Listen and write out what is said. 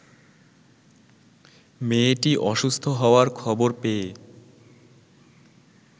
মেয়েটি অসুস্থ হওয়ার খবর পেয়ে